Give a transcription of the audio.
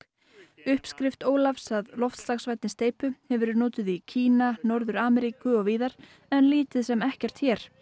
uppskrift Ólafs að loftslagsvænni steypu hefur verið notuð í Kína Norður Ameríku og víðar en lítið sem ekkert hér